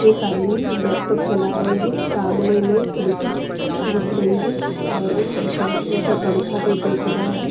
एक आदमी लैपटॉप चला रहे हैं सामने में खिड़की दिख रही है और ऊपर पंखा भी दिख रहा है।